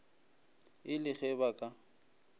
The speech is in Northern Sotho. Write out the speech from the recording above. e le ge ba ka